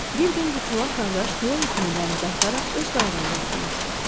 Bir gün bu çolaq qardaş tilov ipini dənizə ataraq öz qayığında oturmuşdu.